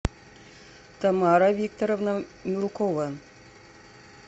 тамара викторовна мелкова